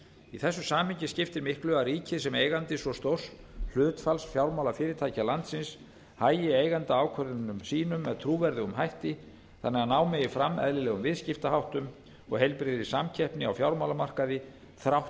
í þessu samhengi skiptir miklu að ríkið sem eigandi svo stórs hlutfalls fjármálafyrirtækja landsins hagi eigendaákvörðunum sínum með trúverðugum hætti þannig að ná megi fram eðlilegum viðskiptaháttum og heilbrigðri samkeppni á fjármálamarkaði þrátt